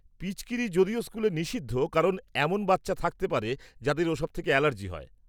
-পিচকিরি যদিও স্কুলে নিষিদ্ধ কারণ এমন বাচ্চা থাকতে পারে যাদের ওসব থেকে অ্যালার্জি হয়।